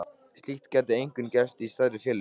Slíkt gæti einkum gerst í stærri félögum.